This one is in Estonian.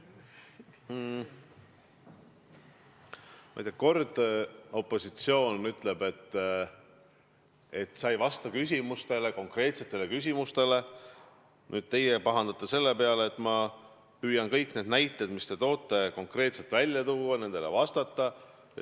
Ma ei tea, kord opositsioon ütleb, et ma ei vasta konkreetsetele küsimustele, nüüd teie pahandate selle peale, et ma püüan kõik need näited, mis te olete toonud, konkreetselt välja tuua ja nendele vastata.